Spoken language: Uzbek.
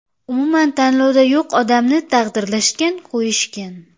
Umuman tanlovda yo‘q odamni taqdirlashgan-qo‘yishgan.